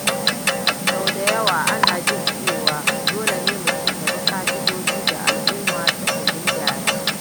Sau da yawa ana jin cewa dole ne mutum ya bi ka’idojin da al’umma suka gindaya.